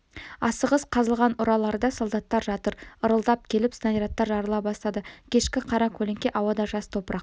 асығыс қазылған ұраларда солдаттар жатыр ырылдап келіп снарядтар жарыла бастады кешкі қара көлеңке ауада жас топырақ